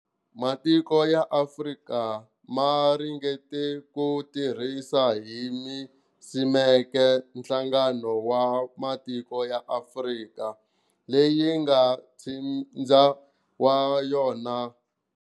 Matiko ya Afrika ma ringete ku tirhisa hi ni siimeke Nhlangano wa matiko ya Afrika, leyi nga ntsindza wa yona.